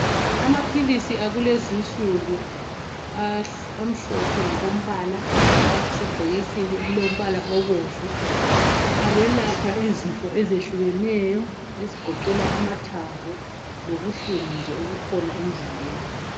Amaphilisi akulezinsukuamhlophe ngokombala. Asebhokisini elilombala obomvu. Ayelapha izifo ezehlukeneyo ezigoqela amathambo lobuhlungu obukhona nje emzimbeni